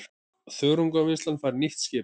Þörungavinnslan fær nýtt skip